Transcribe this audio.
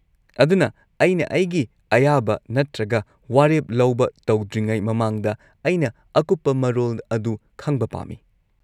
-ꯑꯗꯨꯅ ꯑꯩꯅ ꯑꯩꯒꯤ ꯑꯌꯥꯕ ꯅꯠꯇ꯭ꯔꯒ ꯋꯥꯔꯦꯞ ꯂꯧꯕ ꯇꯧꯗ꯭ꯔꯤꯉꯩ ꯃꯃꯥꯡꯗ, ꯑꯩꯅ ꯑꯀꯨꯞꯄ ꯃꯔꯣꯜ ꯑꯗꯨ ꯈꯪꯕ ꯄꯥꯝꯃꯤ ꯫